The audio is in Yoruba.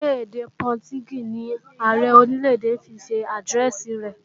Ṣé èdè Pọtugí ni Ààrẹ Orílè-èdè fi ṣe àdírẹ́ẹ̀sì rẹ̀?